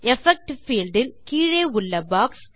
effect field இன் கீழே உள்ள பாக்ஸ்